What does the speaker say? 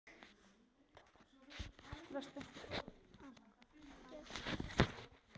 Geirleifur, hvað er klukkan?